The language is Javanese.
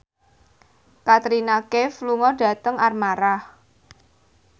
Katrina Kaif lunga dhateng Armargh